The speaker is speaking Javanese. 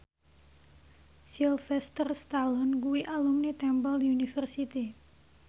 Sylvester Stallone kuwi alumni Temple University